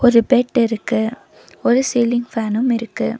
ஜ பெட்டிருக்கு ஒரு சீலிங் ஃபேனும் இருக்கு.